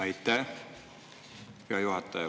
Aitäh, hea juhataja!